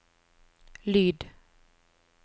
lyd